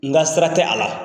N ka sira tɛ a la